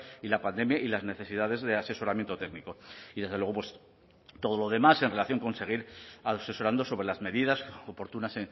y la pandemia y las necesidades de asesoramiento técnico y desde luego pues todo lo demás en relación con seguir asesorando sobre las medidas oportunas